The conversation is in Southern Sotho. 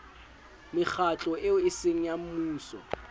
mekgatlo eo eseng ya mmuso